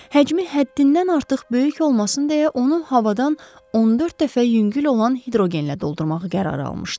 Həcmi həddindən artıq böyük olmasın deyə onu havadan 14 dəfə yüngül olan hidrogenlə doldurmağı qərara almışdı.